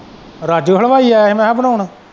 ਰਾਜੂ ਹਲਵਾਈ ਆਇਆ ਹੀ ਮੈਂ ਕਿਹਾ ਬਣਾਉਣ।